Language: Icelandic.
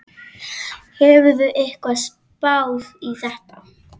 Hefur einhver spáð í þetta?